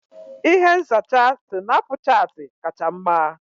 Ihe nzacha Sinapuchati kacha mma.